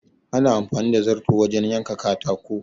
Ana amfani da zarto wajen yanka katako